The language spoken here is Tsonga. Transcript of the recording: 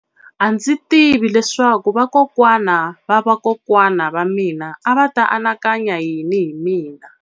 A ndzi tivi leswaku vakokwana va vakokwana va mina a va ta anakanya yini hi mina.